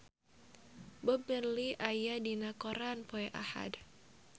Bob Marley aya dina koran poe Ahad